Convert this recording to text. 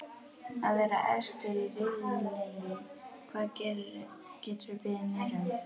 Að vera efstir í riðlinum, hvað geturðu beðið meira um?